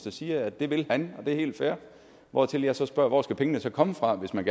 og siger at det vil han og det er helt fair hvortil jeg så spørger hvor skal pengene så komme fra hvis man